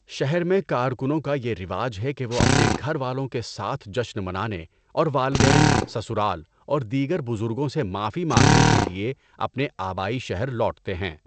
شہر میں کارکنوں کا یہ رواج ہے کہ وہ اپنے گھر والوں کے ساتھ جشن منانے اور والدین، سسرال اور دیگر بزرگوں سے معافی مانگنے کے لیے اپنے آبائی شہر لوٹتے ہیں۔